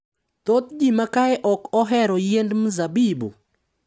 Thoth ji ma kae ok ohero yiend mzabibu .